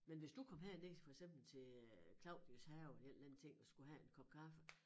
Men hvis du kom herned for eksempel til øh Claudis Have en eller anden ting og skulle have en kop kaffe